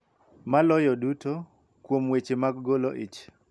Maloyo duto, kuom weche mag golo ich,